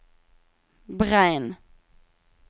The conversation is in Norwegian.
Breim